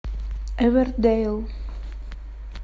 эвердейл